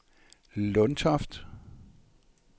Lundtoft